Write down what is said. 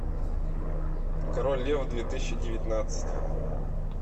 король лев две тысячи девятнадцать